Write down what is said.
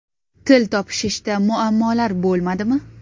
Til topishishda muammolar bo‘lmadimi?